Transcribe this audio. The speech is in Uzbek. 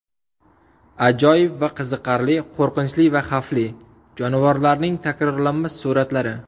Ajoyib va qiziqarli, qo‘rqinchli va xavfli: jonivorlarning takrorlanmas suratlari.